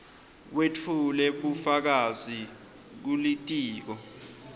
wetfule bufakazi kulitiko